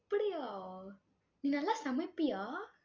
அப்படியா? நீ நல்லா சமைப்பியா?